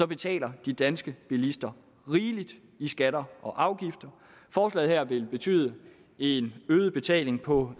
betaler de danske bilister rigeligt i skatter og afgifter forslaget her vil betyde en øget betaling på